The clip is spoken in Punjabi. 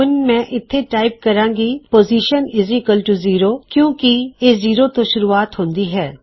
ਹੁਣ ਮੈਂ ਇਥੇ ਟਾਇਪ ਕਰਾਂਗਾ ਪੋਜ਼ਿਸ਼ਨ 0 ਕਿਓਂਕੀ ਇਹ 0 ਤੋਂ ਸ਼ੁਰਵਾਤ ਹੁੰਦੀ ਹੈ